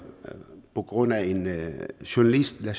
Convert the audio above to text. på grund af en journalist lad